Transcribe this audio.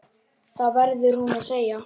Það verður hún að segja.